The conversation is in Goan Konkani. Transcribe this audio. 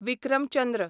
विक्रम चंद्र